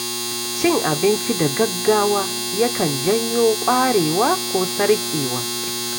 Cin abinci da gaggawa ya kan janyo ƙwarewa ko sarƙewa.